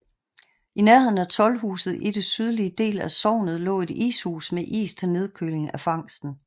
I nærheden af Toldhuset i den sydlige del af sognet lå et ishus med is til nedkøling af fangsten